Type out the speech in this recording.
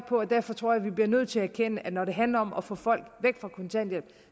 og derfor tror jeg vi bliver nødt til at erkende at når det handler om at få folk væk fra kontanthjælp